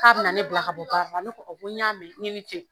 K'a bɛ na ne bila ka bɔ baara la ne a ko n y'a mɛn n k'i ni ce.